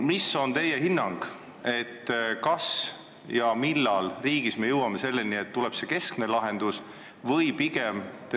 Milline on teie hinnang, millal või kas üldse me jõuame riigis selleni, et tuleb see keskne lahendus?